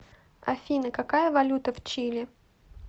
афина какая валюта в чили